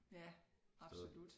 Ja absolut